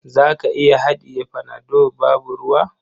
Za ka iya haɗiye panado babu ruwa?